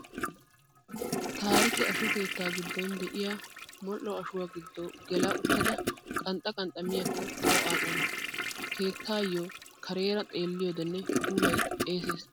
Taarike asho keettaa giddon de'iyaa modhdho ashuwaa giddo gela uttada qanxxa qanxxa miyaakko tawu aadhdhana. Keettaayyo kareera xeelliyoodenne puulayi xeeses.